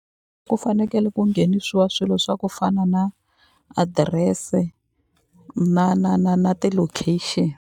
Ku fanekele ku nghenisiwa swilo swa ku fana na adirese na na na na ti-location.